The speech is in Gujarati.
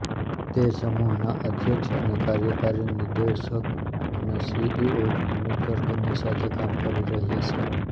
તે સમૂહના અધ્યક્ષ અને કાર્યકારી નિદેશક અને સીઈઓ પુનીત ગર્ગની સાથે કામ કરી રહ્યા છે